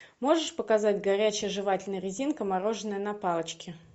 можешь показать горячая жевательная резинка мороженое на палочке